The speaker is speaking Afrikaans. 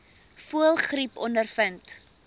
voëlgriep ondervind